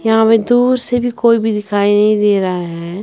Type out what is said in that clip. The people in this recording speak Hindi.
यहाँ पे दूर से भी कोई भी दिखाई नहीं दे रहा है।